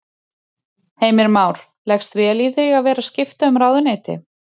Heimir Már: Leggst vel í þig að vera skipta um ráðuneyti?